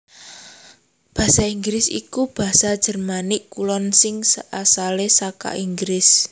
Basa Inggris iku basa Jermanik Kulon sing asalé saka Inggris